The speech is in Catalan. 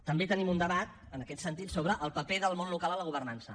també tenim un debat en aquest sentit sobre el paper del món local a la governança